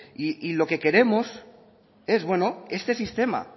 y lo que queremos es bueno este sistema